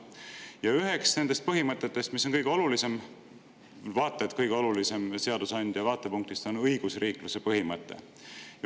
Ja üks nendest põhimõtetest, mis on kõige olulisem, vaata et kõige olulisem seadusandja vaatepunktist, on õigusriikluse põhimõte.